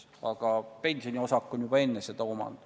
Aga pensioniosak on juba enne seda omand.